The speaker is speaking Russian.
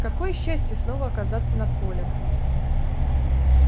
какое счастье снова оказаться над полем